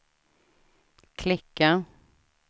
klicka